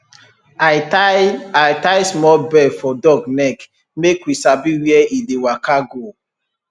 i tie i tie small bell for dog neck make we sabi where e dey waka go